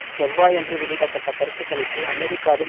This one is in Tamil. செவ்வாயன்று வெளியிட பட்ட கருத்து கணிப்பு அமெரிக்காவில்